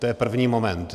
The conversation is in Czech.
To je první moment.